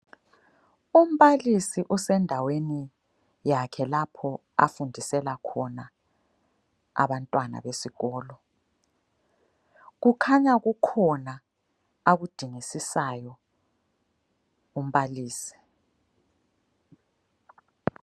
Umbalisi usendaweni yakhe lapho afundisela khona abantwana besikolo , kukhanya kukhona akudingisisayo umbalisi.